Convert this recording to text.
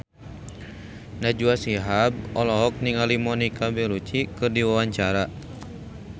Najwa Shihab olohok ningali Monica Belluci keur diwawancara